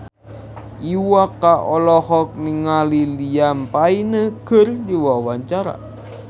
Iwa K olohok ningali Liam Payne keur diwawancara